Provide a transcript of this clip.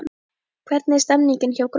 Hvernig er stemningin hjá Gróttu?